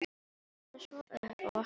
Stendur svo upp og vappar fram.